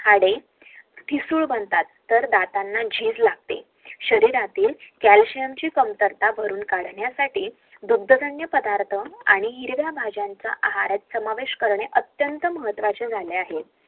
तर दातांना झीज लागते कांदातत भरून लागण्यासाठी दुथ वागरे खाणे